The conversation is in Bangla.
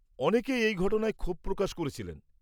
অনেকেই এই ঘটনায় ক্ষোভ প্রকাশ করেছিলেন ।